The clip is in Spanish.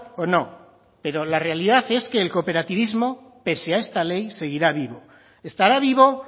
o no pero la realidad es que el cooperativismo pese a esta ley seguirá vivo estará vivo